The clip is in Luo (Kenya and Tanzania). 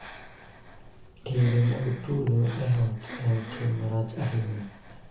Timbe mag tulo e ot en tim marach ahinya